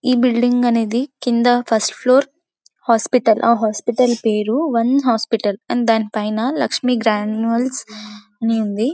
ఈ బిల్డింగ్ అనేహి కింద ఫస్ట్ ఫ్లోర్ హాస్పెటల్ ఆ హాస్పెటల్ పేరు వన్ హాస్పెటల్ అండ్ దాని పైన లక్ష్మి గ్రాన్యూల్స్ అని ఉంది .